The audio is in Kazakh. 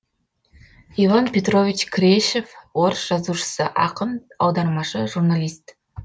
иван петрович крешев орыс жазушысы ақын аудармашы журналист